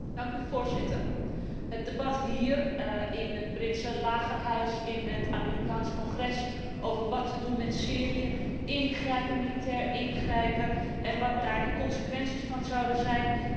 Het debat hier, in het Britse Lagerhuis, in het Amerikaans Congres over wat te doen met Syrië, al dan niet militair ingrijpen en wat daar de consequenties van zouden zijn, is oprecht.